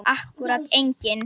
Akkúrat enginn.